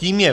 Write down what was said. Tím je